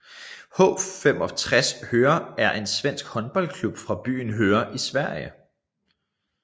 H 65 Höör er en svensk håndboldklub fra byen Höör i Sverige